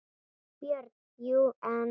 BJÖRN: Jú, en.